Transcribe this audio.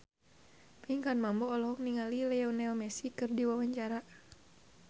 Pinkan Mambo olohok ningali Lionel Messi keur diwawancara